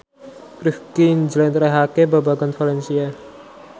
Rifqi njlentrehake babagan valencia